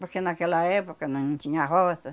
Porque naquela época nós não tinha roça.